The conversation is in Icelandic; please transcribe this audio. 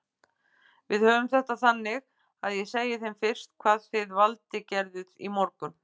Við höfum þetta þannig að ég segi þeim fyrst hvað þið Valdi gerðuð í morgun.